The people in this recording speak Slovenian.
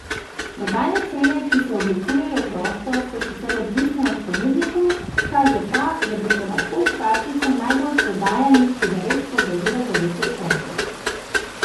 Prodajne cene, ki se oblikujejo prosto, so sicer odvisne od ponudnikov, kaže pa, da bi se lahko škatlica najbolj prodajanih cigaret podražila za deset centov.